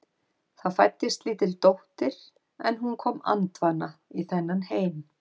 Það fæddist lítil dóttir en hún kom andvana í þennan heim.